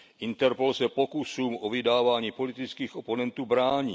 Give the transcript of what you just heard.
Interpol se pokusům o vydávání politických oponentů brání.